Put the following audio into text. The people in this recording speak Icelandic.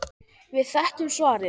Við þekkjum svarið.